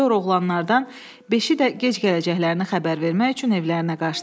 Sonra oğlanlardan beşi də gec gələcəklərini xəbər vermək üçün evlərinə qaşdı.